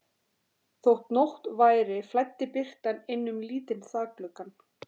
Þótt nótt væri flæddi birtan inn um lítinn þakgluggann.